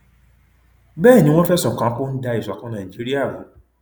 bẹẹ ni wọn fẹsùn kàn án pé ó ń da ìṣọkan nàìjíríà rú